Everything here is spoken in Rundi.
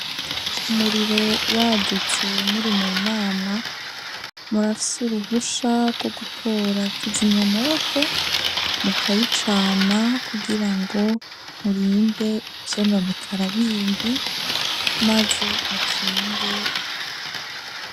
Umuriro wadutse muri mu nama murafise uruhusha gwo gutora kizimya mwoto mukayicana kugira ngo murinde ivyononekara bindi maze mukinge.